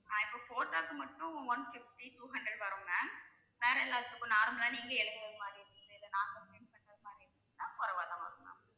ஆஹ் இப்ப photo க்கு மட்டும் one fifty two hundred வரும் ma'am வேற எல்லாத்துக்கும் normal ஆ நீங்க எழுதற மாதிரி இல்ல நாங்க print பண்ற மாதிரி இருந்ததுன்னா வரும் ma'am